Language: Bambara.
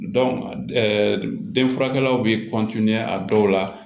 denfurakɛlaw be a dɔw la